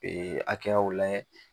akɛyaw layɛ